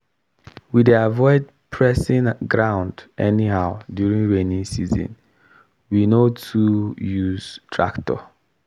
we dey avoid pressing ground anyhow during rainy season we no too use tractor